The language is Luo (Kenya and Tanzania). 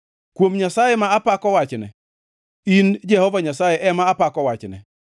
Kuom Nyasaye ma apako wachne, in Jehova Nyasaye ema apako wachne,